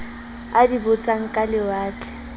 a di botsang ka lewatle